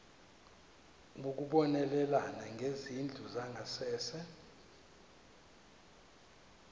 ukubonelela ngezindlu zangasese